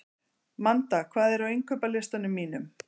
Manda, hvað er á innkaupalistanum mínum?